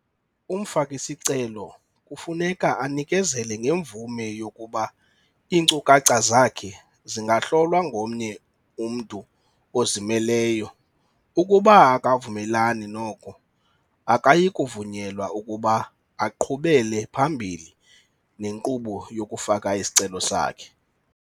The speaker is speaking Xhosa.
Umfaki-sicelo kufuneka anikezele ngemvume yokuba iinkcukacha zakhe zingahlolwa ngomnye umntu ozimeleyo ukuba akavumelani noko, akayikuvunyelwa ukuba aqhubele phambili nenkqubo yokufaka isicelo sakhe.